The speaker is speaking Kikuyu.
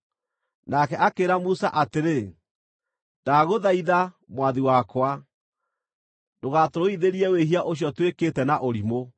nake akĩĩra Musa atĩrĩ, “Ndagũthaitha, mwathi wakwa, ndũgatũrũithĩrie wĩhia ũcio twĩkĩte na ũrimũ.